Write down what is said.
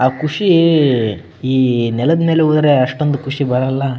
ಆ ಖುಷಿ ಈ ನೆಲ್ದ ಮೆಲ್ ಹೋದ್ರೆ ಅಷ್ಟೊಂದು ಖುಷಿ ಬರಲ್ಲ .